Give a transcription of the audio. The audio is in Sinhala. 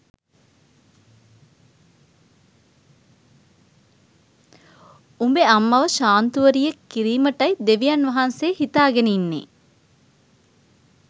උඹේ අම්මව ශාන්තුවරියක් කිරීමටයි දෙවියන් වහන්සේ හිතාගෙන ඉන්නෙ